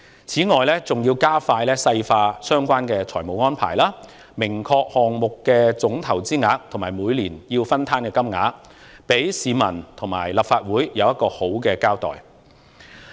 此外，還要加快細化相關的財政安排，明確釐定項目的總投資額及每年須攤分的金額，給市民和立法會一個好的交代。